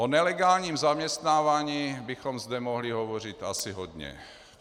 O nelegálním zaměstnávání bychom zde mohli hovořit asi hodně.